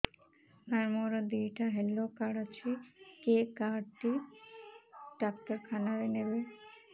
ସାର ମୋର ଦିଇଟା health card ଅଛି କେ କାର୍ଡ ଟି ଡାକ୍ତରଖାନା ରେ ନେବେ